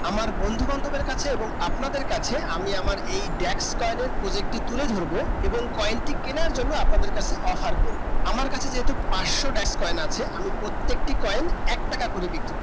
আমার বন্ধু বান্ধবে কাছে এবং আপনাদের কাছে আমি আমার এই backs point project তুলে ধরবো এবং coin টি কেনার জন্য আপনাদের কাছে offer করবো আমার কাছে যেহেতু পাঁচশো backs point একটু valu ক্রিয়েট করবো